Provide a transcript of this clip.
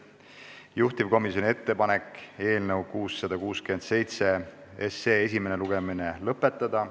Juhtivkomisjoni ettepanek on eelnõu 667 esimene lugemine lõpetada.